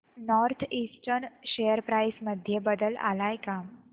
north eastern share price मध्ये बदल आलाय का